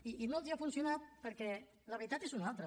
i no els ha funcionat perquè la veritat és una altra